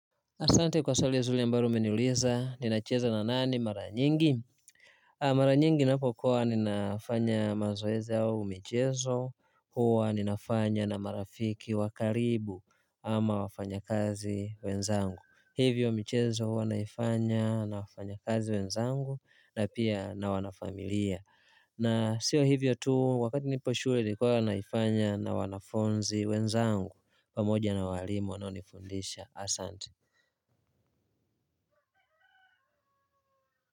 Asante kwa swali ya zile ambalo umeniuliza ninacheza na nani maranyingi mara nyingi ninapokuwa ninafanya mazoezi au michezo hua ninafanya na marafiki wa karibu ama wafanyakazi wenzangu hivyo michezo huwa naifanya na wafanyakazi wenzangu na pia na wanafamilia na sio hivyo tu wakati nipo shule huwa naifanya na wanafunzi wenzangu pamoja na walimu wanaonifundisha Asante.